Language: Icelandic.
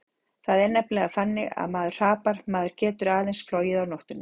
Það er nefnilega þannig ef maður hrapar, maður getur aðeins flogið á nóttunni.